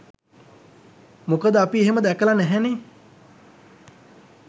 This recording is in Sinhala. මොකද අපි එහෙම දැකල නැහැනේ